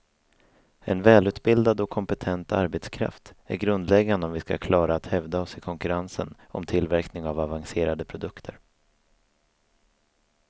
En välutbildad och kompetent arbetskraft är grundläggande om vi skall klara att hävda oss i konkurrensen om tillverkning av avancerade produkter.